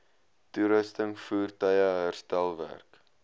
toerusting voertuie herstelwerk